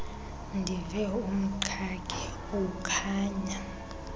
ndive umqhagi ukhonya